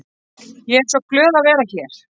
Ég er svo glöð að vera hér.